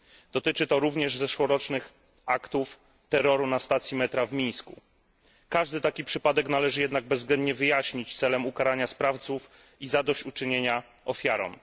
Dotyczy to również zeszłorocznych aktów terroru na stacji metra w Mińsku. Każdy taki przypadek należy jednak bezwzględnie wyjaśnić celem ukarania sprawców i zadośćuczynienia ofiarom.